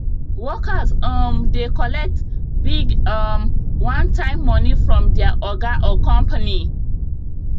workers um dey collect big um onetime money from their oga or company